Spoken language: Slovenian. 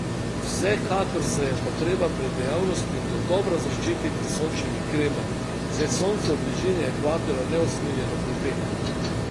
Vsekakor se je pa treba pred dejavnostmi dodobra zaščititi s sončnimi kremami, saj sonce v bližini ekvatorja neusmiljeno pripeka.